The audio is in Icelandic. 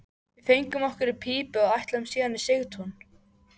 Við fengum okkur í pípu og ætluðum síðan í Sigtún.